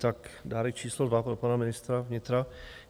Tak dárek číslo dva pro pana ministra vnitra.